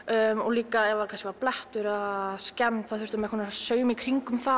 líka ef það var blettur þá þurfti maður að sauma í kringum það